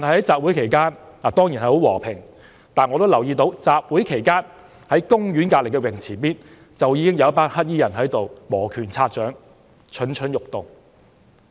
集會期間，一切當然很和平，但同一時間，我卻留意到公園旁邊的泳池附近，已有一群黑衣人磨拳擦掌，蠢蠢欲動。